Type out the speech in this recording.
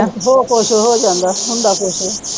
ਹੋਰ ਕੁਝ ਹੋ ਜਾਂਦਾ ਹੰਦਾ ਕੁਛ ਆ।